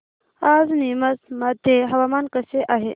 आज नीमच मध्ये हवामान कसे आहे